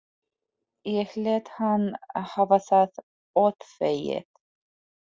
Ég lét hann hafa það óþvegið.